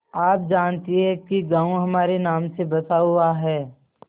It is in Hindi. आप जानती हैं कि गॉँव हमारे नाम से बसा हुआ है